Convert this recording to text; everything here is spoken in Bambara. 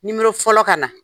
fɔlɔ ka na.